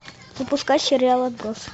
запускай сериал отбросы